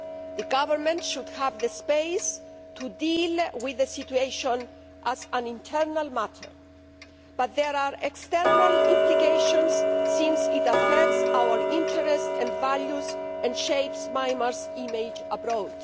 The Government should have the space to deal with the situation as an internal matter, but there are external implications since it affects our interests and values and shapes Myanmar's image abroad.